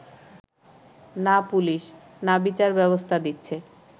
না পুলিশ, না বিচারব্যবস্থা দিচ্ছে